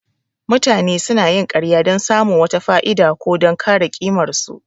Mutane sunayin ƙarya don samun wata fa'ida, ko don kare ƙimarsu.